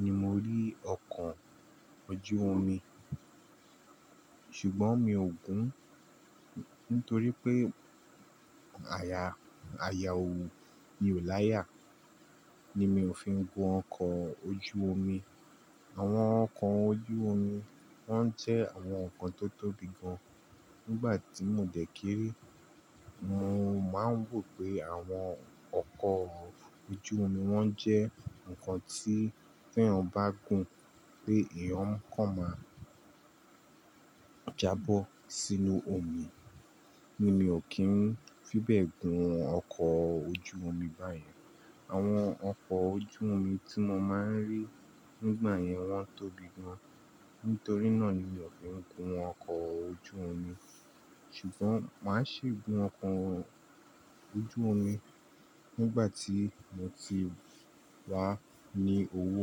ni mo rí ọkọ̀ ojú omi, ṣùgbọ́n mi ò gun. Nítorí pé àyà, àyà òwú mi ò láyà ni mi ò fi ń gun ọkọ̀ ojú omi. Àwọn ọkọ̀ ojú omi wọ́n ń jẹ́ àwọn oko tó tóbi gan. Nígbà tí mo dẹ̀ kéré, mo máa ń rọ̀ pé àwọn ọkọ̀ ojú omi wọ́n jẹ́ nǹkan tí tí ẹ́eyan bá gun pé eeyan kàn máa jábọ́ sínú omi. Ni mi ò kí ń fi bẹ́ẹ̀ gun ọkọ̀ ojú omi báyẹn. Àwọn ọkọ̀ ojú omi tí mo máa ń rí nígbà yẹn wọ́n tóbi gan. Nítorí náà ni mi ò fi ń gun ọkọ̀ ojú omi. Ṣùgbọ́n màá ṣe gun ọkọ̀ ojú omi nígbà tí mo ti wà ní owó.